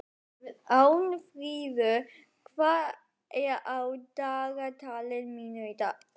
Arnfríður, hvað er á dagatalinu mínu í dag?